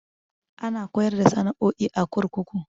Ana koyar da sana'o'i a kurkuku.